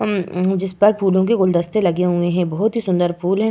हम्म जिसपर फूलों के गुलदस्ते लगे हुए हैं। बहोत ही सुंदर फूल हैं।